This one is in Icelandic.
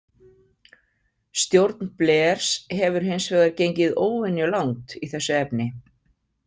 Stjórn Blairs hefur hins vegar gengið óvenjulangt í þessu efni.